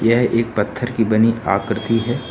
यह एक पत्थर की बनी आकृति है।